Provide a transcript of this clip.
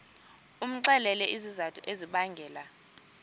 umxelele izizathu ezibangela